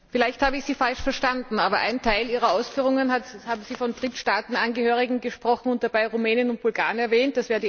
Vielleicht habe ich Sie falsch verstanden, aber in einem Teil Ihrer Ausführungen haben Sie von Drittstaatenangehörigen gesprochen und dabei Rumänen und Bulgaren erwähnt.